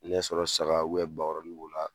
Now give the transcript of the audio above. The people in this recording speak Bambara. Ni y'a sɔrɔ saga bakɔrɔni de b'o la